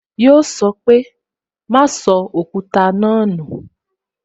Yọ sọ pé "Ma sọ Òkúta náà nu